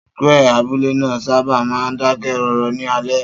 Square abúlé náà sábà máa ń dákẹ́ rọ́rọ́ ní alẹ́.